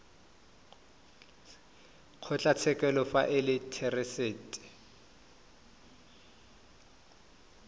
kgotlatshekelo fa e le therasete